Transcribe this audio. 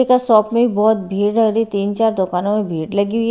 shop में भी बहुत भीड़ तीन चार दुकानों में भीड़ लगी हुई--